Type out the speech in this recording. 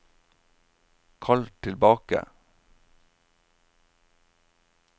kall tilbake